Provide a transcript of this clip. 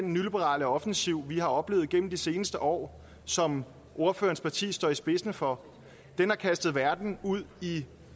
og nyliberale offensiv vi har oplevet igennem de seneste år som ordførerens parti står i spidsen for har kastet verden ud i